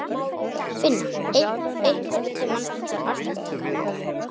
Finna, einhvern tímann þarf allt að taka enda.